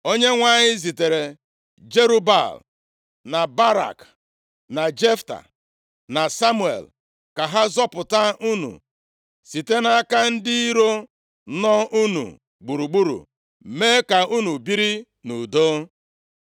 Onyenwe anyị zitere Jerub-Baal, na Barak, + 12:11 Nʼime akwụkwọ ụfọdụ ihe ị ga-ahụ bụ Bedan na Jefta, na Samuel, ka ha zọpụta unu site nʼaka ndị iro nọ unu gburugburu, mee ka unu biri nʼudo.